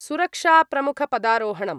सुरक्षाप्रमुखपदारोहणम्